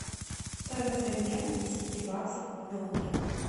стоимость обмена десяти баксов в доллары